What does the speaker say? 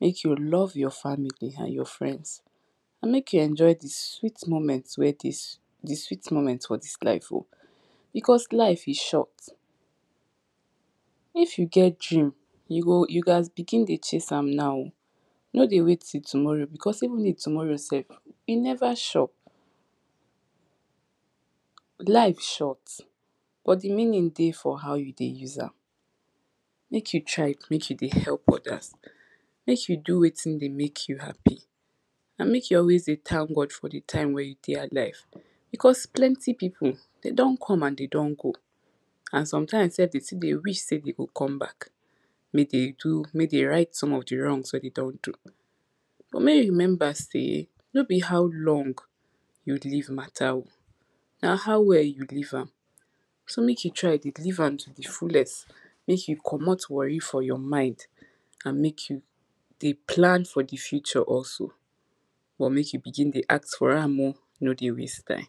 mek you love your family and your friends and mek you enjoy the sweet moments for dis life o, because life is short If you get dream, you gats begin dey chase am naw no dey wait till tomorrow because even do tomorrow sef, e never sure no dey wait till tomorrow because even do tomorrow sef, e never sure mek you try mek you dey help others mek you do wetin dey make you happy and mek you always dey thank God for the time wey you dey alive because, plenty people don don come, and den don go and sometimes sef, den still dey wish sey den go come back, mek den right some of di wrongs wey den don do but mek you remember sey, no be how long, you live matter o, na how well you live am, so mek you try dey live am to di fullest, make you comot wori for your mind, and mek you dey plan for di future also, but mek you begin dey act for am o, no dey waste time